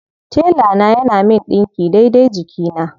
Tela na yana min ɗinki daidai jikina.